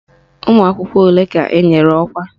Ụmụakwụkwọ ole ka enyere ọkwa?